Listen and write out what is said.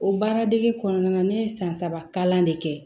O baara degi kɔnɔna na ne ye san saba kalan de kɛ